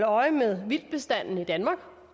øje med vildtbestanden i danmark